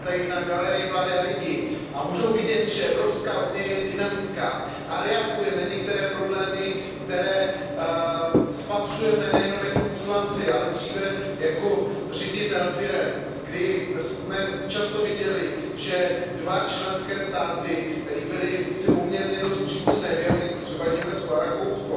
Máme tady na galerii mladé lidi a můžou vidět, že EU je dynamická a reaguje na některé problémy, které spatřujeme nejenom jako poslanci, ale dříve jako ředitelé firem, kdy jsme často viděli, že dva členské státy, které si byly poměrně dost příbuzné v jazyku, třeba Německo a Rakousko,